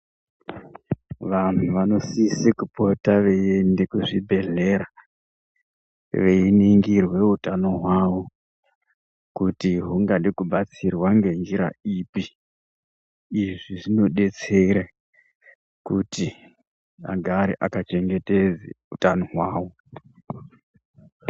Vanhu vanosise kupota veienda kuzvibhehlera veiningirwe utano hwawo kuti hungade kubatsirwe nenzira ipi, izvi zvinodetsera kuti agare akachengetedze utano hwawo.